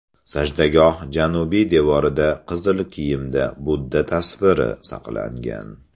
Sajdagoh janubiy devorida qizil kiyimda Budda tasviri saqlangan.